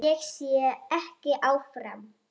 Ég sé ekki áfram.